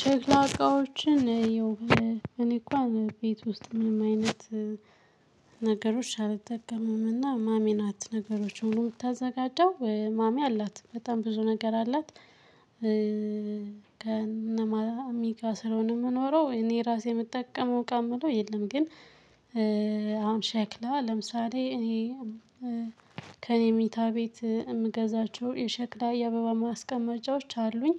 ሸክላ እቃወችን ያው እኔ እንኳን ቤት ውስጥ ምንም አይነት ነገሮችን አልጠቀምምና ማሚ ናት ነገሮች ሁሉ የምታዘጋጀው ማሚ አላት በጣም ብዙ ነገር አላት። ከነማሚ ጋር ስለሆነ የምኖረው እኔ ራሴ የምጠቀመው እቃ የምለው የለም። ግን አሁን ሸክላ ለምሳሌ እኔ ከእኔ መኝታ ቤት የምገዛቸው የሸክላ የአበባ ማስቀመጫዎች አሉኝ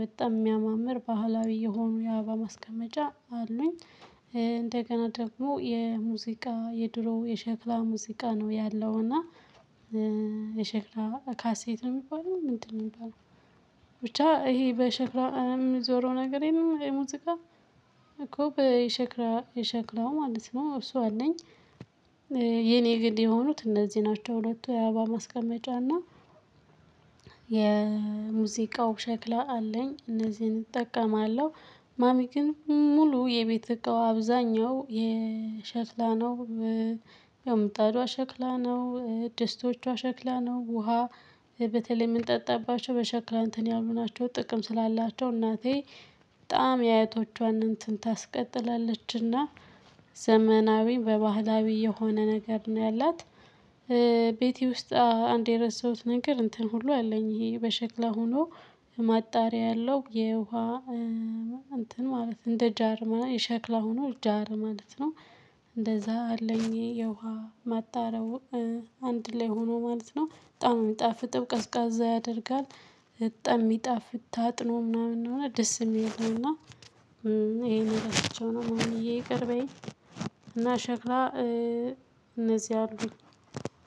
በጣም የሚያማምር ባህላዊ የሆኑ የአባ ማስቀመጫ አሉኝ። እንደገና ደግሞ የሙዚቃ የድሮ የሸክላ ሙዚቃ ነው ያለው። እና የሸክላ ካሴት ነው የሚባለው ምንድነው የሚባለው? ብቻ ይሄ በሸክላ የሚዞረው ነገር የለም ሙዚቃ እኮ በሸክላ የሸክላው ማለት ነው እሱ አለኝ። የኔ ግን የሆኑት እነዚህ ናቸው ሁለቱ የአባ ማስቀመጫና የሙዚቃው ሸክላ አለኝ እነዚህን እጠቀማለሁ። ማሚ ግን ሙሉ የቤት እቃው አብዛኛው የሸክላ ነው። ያው ምጣዷ ሸክላ ነው ደስቶቿ ሸክላ ነው ውሃ በተለይ የምንጠጣባቸው በሸክላ እንትን ያሉ ናቸው። ጥቅም ስላላቸው እናቴ በጣም የአያቶቿን እንትን ታስቀጥላለችና። ዘመናዊ በባህላዊ የሆነ ነገር ነው ያላት። ቤቴ ውስጥ አንድ የረሳሁት ነገር እንትን ሁሉ አለኝ ይሄ በሸክላ ሆኖ ማጣሪያ ያለው የውሃ እንትን ማለት እንደ ጃር የሸክላ ሆኖ ጃር ማለት ነው። እንደዛ አለኝ የውሃ ማጣረው አንድ ላይ ሆኖ ማለት ነው በጣም የሚጣፍጥ ቀዝቃዛ ያደርጋል። በጣም የሚጣፍ ታጥኖ ምናምን እንደሆነ ደስ የሚለው ነው። እና ይሄን ረስቸው ነው ማሚየ ይቅር በይኝ። እና ሸክላ እነዚህ አሉኝ።